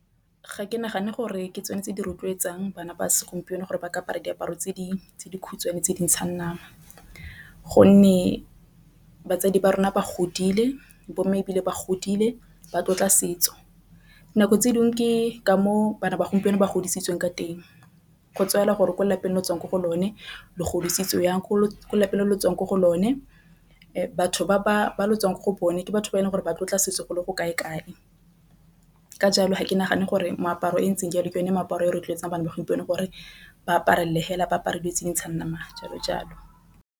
Ga ke nagane gore ke tsone tse di rotloetsang bana ba segompieno gore ba ka apara diaparo tse di khutshwane tse di ntshang nama. Gonne batsadi ba rona ba godile bomme ebile ba godile ba tlotla setso nako tse dingwe ke ka moo bana ba gompieno ba godisitsweng ka teng go gore ko lapeng le o tswang mo go lone le godisitswe jang. Ko lapeng lotsenong mo go lone batho ba tswang ko go bone ke batho ba e leng gore ba tla sesole go kae kae ka jalo ga ke nagane gore moaparo e ntseng jalo ke yone meaparo e rotloetsang bana ba gompieno gore ba apare le ba apare di itse dintshang nama jalo jalo.